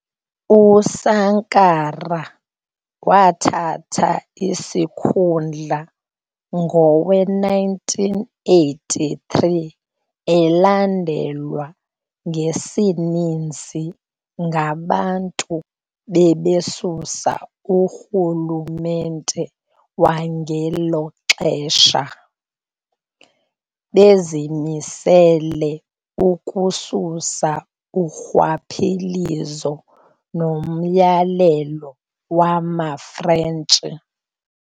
uSankara wathata isikhundla ngowe 1983 elandelwa ngesininsi ngabantu bebesusa urhulumente wangelo xesha, bezimisele ukususa urhwaphilizo nomyalelo wama Frentshi.